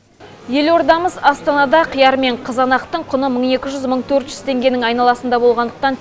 елордамыз астанада қияр мен қызанақтың құны мың екі жүз мың төрт жүз теңгенің айналасында болғандықтан